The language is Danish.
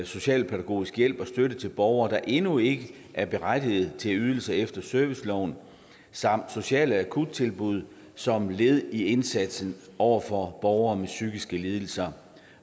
socialpædagogisk hjælp og støtte til borgere der endnu ikke er berettiget til ydelser efter serviceloven samt sociale akuttilbud som led i indsatsen over for borgere med psykiske lidelser